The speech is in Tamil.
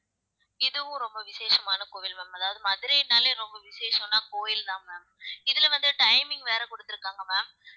இதுவும் ரொம்ப விசேஷமான கோவில் ma'am அதாவது மதுரைனாலே ரொம்ப விசேஷம்ன்னா கோயில்தான் ma'am இதுல வந்து timing வேற குடுத்திருக்காங்க ma'am